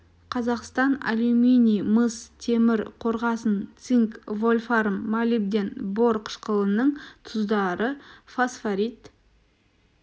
қазақстан алюминий мыс темір қорғасын цинк вольфрам молибден бор қышқылының тұздары фосфорит